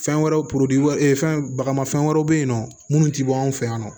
Fɛn wɛrɛw fɛn bagamafɛn wɛrɛw bɛ yen nɔ minnu tɛ bɔ anw fɛ yan nɔ